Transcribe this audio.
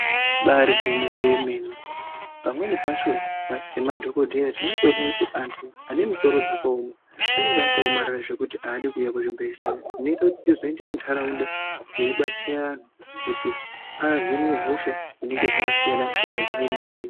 Ibaari gwinyiso yemene pamweni pacho semadhogodheya tinotoda kuti antu anemusoro dzakaoma anenge akaomarara zvekuti haadi kuuya kuzvibhehleya. Zvinozoita kuti tizoende muntaraunda teibatsira anhu kuti ahinwe hosha dzakasiyana-siyana dzaanenge...